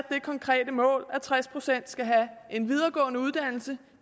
det konkrete mål at tres procent skal have en videregående uddannelse